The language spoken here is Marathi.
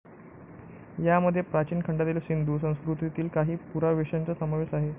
यामध्ये प्राचीन खंडातील सिंधू संस्कृतीतील काही पुरावशेशांचा समावेश आहे.